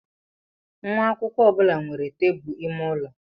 Nwa akwụkwọ ọ bụla nwere tebụl ime ụlọ.